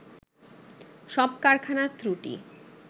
সব কারখানার ত্রুটি